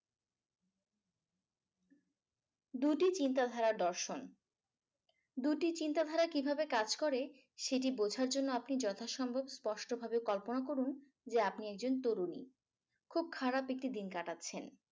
দুইটি চিন্তাধারার দর্শন। দুটি চিন্তা দ্বারা কিভাবে কাজ করে সেটি বুঝার জন্য আপনি যথাসম্ভব স্পষ্টভাবে কল্পনা করুন যে আপনি একজন তরুণী। খুব খারাপ একটি দিন কাটাচ্ছেন।